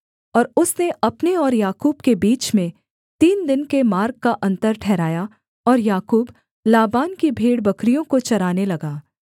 और उसने अपने और याकूब के बीच में तीन दिन के मार्ग का अन्तर ठहराया और याकूब लाबान की भेड़बकरियों को चराने लगा